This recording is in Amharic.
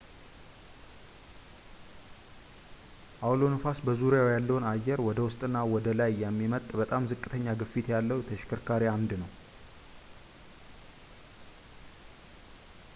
አውሎ ነፋስ በዙሪያው ያለውን አየር ወደ ውስጥና ወደ ላይ የሚመጥጥ በጣም ዝቅተኛ ግፊት ያለው ተሽከርካሪ አምድ ነው